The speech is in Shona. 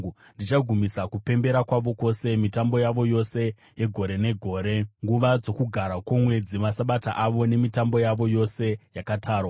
Ndichagumisa kupembera kwavo kwose: mitambo yavo yose yegore negore, nguva dzoKugara kwoMwedzi, maSabata avo nemitambo yavo yose yakatarwa.